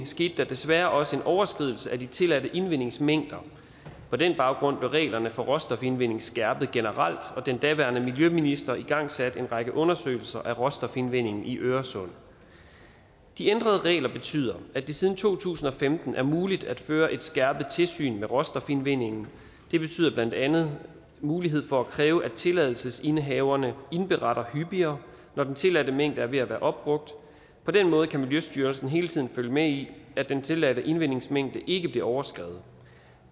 skete der desværre også en overskridelse af de tilladte indvindingsmængder på den baggrund blev reglerne for råstofindvinding skærpet generelt og den daværende miljøminister igangsatte en række undersøgelser af råstofindvindingen i øresund de ændrede regler betyder at det siden to tusind og femten er muligt at føre et skærpet tilsyn med råstofindvindingen det betyder blandt andet mulighed for at kræve at tilladelsesindehaverne indberetter hyppigere når den tilladte mængde er ved at være opbrugt på den måde kan miljøstyrelsen hele tiden følge med i at den tilladte indvindingsmængde ikke bliver overskredet